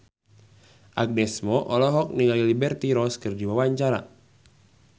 Agnes Mo olohok ningali Liberty Ross keur diwawancara